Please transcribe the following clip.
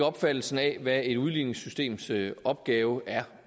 opfattelsen af hvad et udligningssystems opgave er